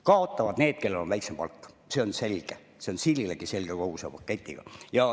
Kaotavad need, kellel on väiksem palk – see on selge, see on siililegi selge – kogu selle paketiga.